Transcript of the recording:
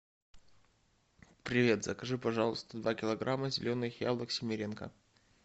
привет закажи пожалуйста два килограмма зеленых яблок семеренко